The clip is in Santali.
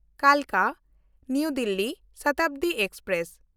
ᱠᱟᱞᱠᱟ–ᱱᱟᱣᱟ ᱫᱤᱞᱞᱤ ᱥᱚᱛᱟᱵᱫᱤ ᱮᱠᱥᱯᱨᱮᱥ